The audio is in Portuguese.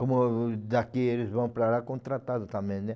Como daqui eles vão para lá, contratado também, né?